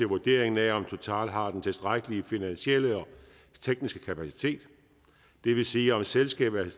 vurderingen af om total har den tilstrækkelige finansielle og tekniske kapacitet det vil sige om selskabet er